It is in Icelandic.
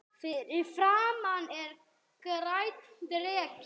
Fyrir framan er grænn dreki.